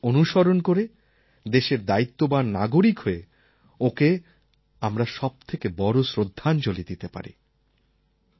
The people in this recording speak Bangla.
সেই পথ অনুসরণ করে দেশের দায়িত্ববান নাগরিক হয়ে ওঁকে আমরা সবথেকে বড় শ্রদ্ধাঞ্জলি দিতে পারি